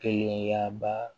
Kelenya ba